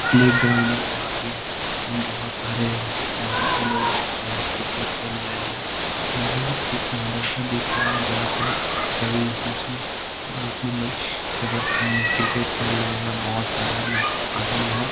playground है जहाँ पे बहुत सारे मजहब के लोग हैं क्रिकेट खेल रहे हैं वही एक मदरसा दिख रहा है जहां पे सभी मुस्लिम मुस्लिम लोग क्रिकेट खेल रहे है बहुत सारा लोग आदमी लोग --